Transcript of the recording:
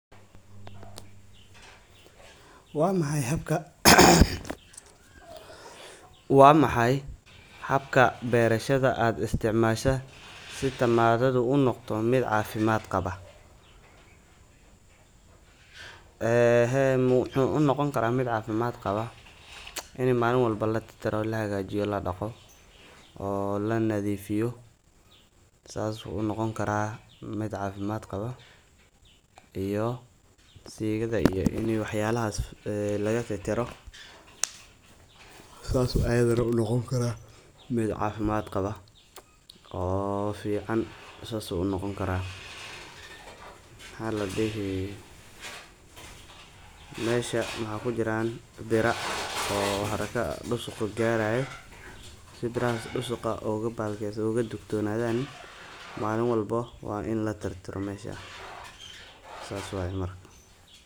Wa maxay habka barashada aad isticmashid. sii tamamada uu unoqdoh mid cafimad qaba muxu unoqonkarah mid cafimd qaba ina malin walbo latirtiro xagajiyo ladaqo oo la nadifiyo saas u unoqoankarah mid cafimad qabo iyo sigada wax yalahas lagtiroh saas ayu Ayanada unoqon karah mid cafimad qaba oo fican so oo noqonkara waxa ladii Masha wax kujiran biro dusuqa gariyo sibirahas dusuqa. oo ya dugtonasan malin walbo Wa. ina latirtiro. mash saas waya marka